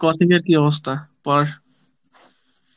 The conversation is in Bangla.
coaching এর কি অবস্থা?